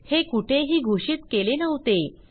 हे कुठेही घोषित केले नव्हते